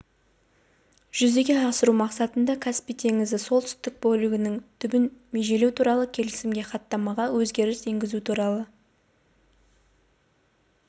жүзеге асыру мақсатында каспий теңізі солтүстік бөлігінің түбін межелеу туралы келісімге хаттамаға өзгеріс енгізу туралы